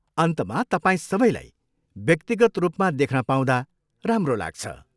अन्तमा तपाईँ सबैलाई व्यक्तिगत रूपमा देख्न पाउँदा राम्रो लाग्छ।